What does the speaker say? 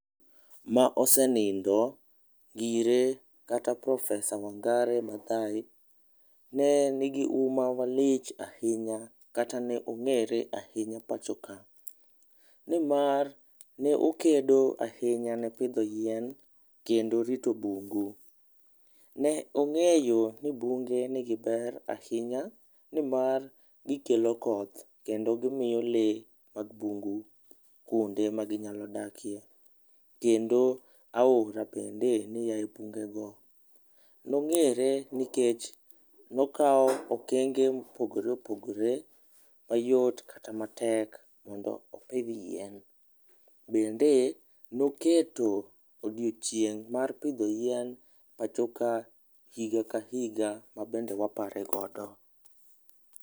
ma osenindo ngire kata profesa wangari Madhai ne ni huma malich ahinya kata ne ong'ere malich ahinya e pacho ka ni mar ne okedo ahinya ne pidho yien kata rito bungu, ne ong'eyo ni bunge ni gi ber ahiny ani mar gi kelo koth kendo gimiyo le mag mbungu kuond e ma gi nyalo dakie, kendo aora bende ne ayie bunge go, nong'ere ni kech nokawo okenge mopogore opogore mayot kata matek mag pidho yien, bende noketo odioching' mar pidho yien pacho ka higa ka higa mabende wapare go.